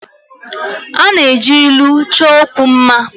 A na-eji ilu chọọ okwu mma